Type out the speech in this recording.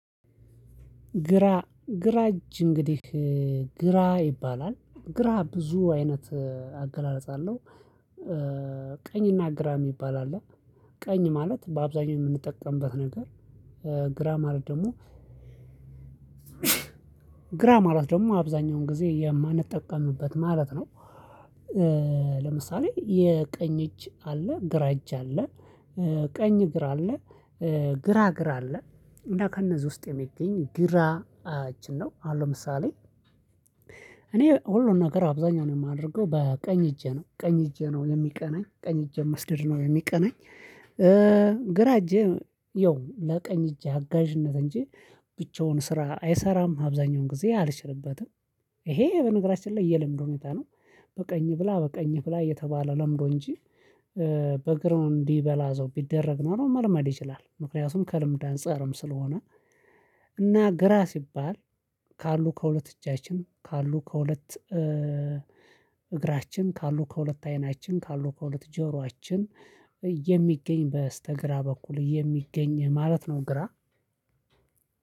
ግራ ግራ እጅ እንግዲህ ግራ ይባላል ግራ ብዙ አይነት አገላለጽ አለው። ቀኝና ግራ የሚባል አለ ቀኝ ማለት በአብዛኛው የምንጠቀምበት ነገር። ግራ ማለት ደግሞ ግራ ማለት ደግሞ አብዛኛውን ጊዜ የማንጠቀምበት ማለት ነው። ለምሳሌ የቀኝ እጅ አለ ግራ እጅ አለ። ቀኝ ግራ አለ። ግራ እግር አለ። እና ከእነዚህ ውስጥ የሚገኝ ግራ እጅን ነው አሁን ምሳሌ። እኔ ሁሉን ነገር አብዛኛውን የማደርገው በቀኝ እጄ ነው ቀኝ እጄ ነው የሚቀናኝ ቀኝ እጄ መስደድ ነው የሚቀናኝ። ግራ እጄ ይኸው ለቀኝ እጅ አጋዥነት እንጂ ብቻውን ስራ አይሰራም። አብዛኛውን ጊዜ አልችልበትም። ይሄ በነገራችን ላይ የለምዱ ሁኔታ ነው። በቀኝ ብላ በቀኝ ብላ እየተባለ ለምዶ እንጂ በእግር እንዲበላ አዘው ቢደረግ ኖሮ መልመድ ይችላል። ምክንያቱም ከልምድ አንፃርም ስለሆነ። እና ግራ ሲባል። ካሉ ከሁለት እጃችን ካሉ ከሁለት እግራችን ካሉ ከሁለት አይናችን ካሉ ከሁለት ጆሮአችን የሚገኝ በስተግራ በኩል የሚገኝ ማለት ነው። ግራ